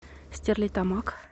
стерлитамак